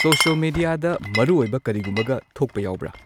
social ꯃꯦꯗꯤꯌꯥꯗ ꯃꯔꯨ ꯑꯣꯏꯕ ꯀꯔꯤꯒꯨꯝꯕꯒ ꯊꯣꯛꯄ ꯌꯥꯎꯕ꯭ꯔꯥ